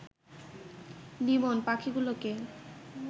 লিমন পাখিগুলোকে